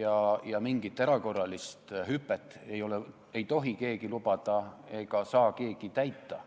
ja mingit erakorralist hüpet ei tohi keegi lubada, sellist lubadust ei saa keegi täita.